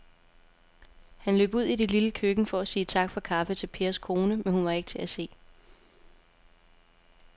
Han løb ud i det lille køkken for at sige tak for kaffe til Pers kone, men hun var ikke til at se.